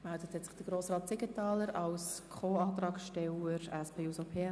Grossrat Siegenthaler hat sich als Co-Antragsteller gemeldet.